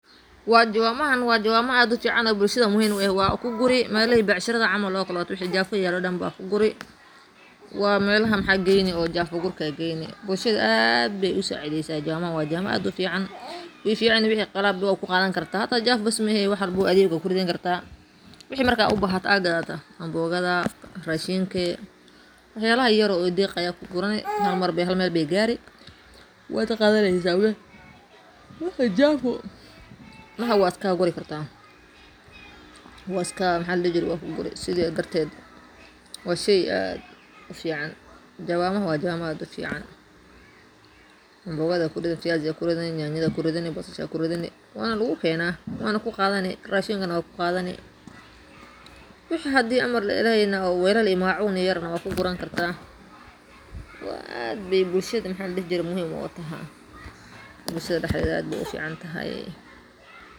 Waa juwamahan waa kuguri oo waxa geyni melaha oo jafuga laguguro oo bulshada aad ayey u sacideysa oo qashinka aya kuqadi kartaa .Jawamaha Jafuga lagu guro waa qalab laga sameeyo bir adag oo loo adeegsado beeraha si loogu qodo dhulka, gaar ahaan marka la doonayo in la beero dalagyo. Waxay ka kooban tahay bir dhul-gashi ah oo af leh si ay si fudud ugu sii dhex marto ciidda. Waxaa lagu rakibaa ul ama gacan-qabsi si uu qofka beeraleyda ahi si fudud ugu isticmaalo.